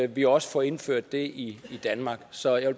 vi også får indført det i danmark så jeg